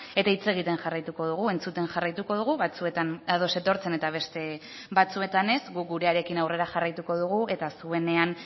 eta hitz egiten jarraituko dugu entzuten jarraituko dugu batzuetan ados etortzen eta beste batzuetan ez guk gurearekin aurrera jarraituko dugu eta zuenean